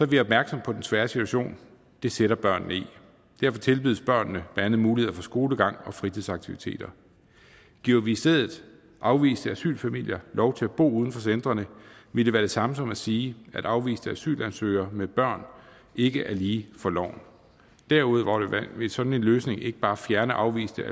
vi opmærksomme på den svære situation det sætter børnene i derfor tilbydes børnene blandt andet muligheder for skolegang og fritidsaktiviteter giver vi i stedet afviste asylfamilier lov til at bo uden for centrene vil det være det samme som at sige at afviste asylansøgere med børn ikke er lige for loven derudover vil sådan en løsning ikke bare fjerne afviste